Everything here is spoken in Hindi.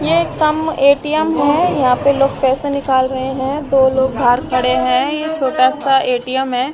ये एक कम ए_टी_एम है यहां पे लोग पैसे निकाल रहे हैं दो लोग बाहर खड़े हैं ये छोटा सा ए_टी_एम है।